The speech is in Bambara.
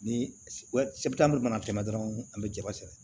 Ni mana tɛmɛ dɔrɔn an be jaba sɛnɛ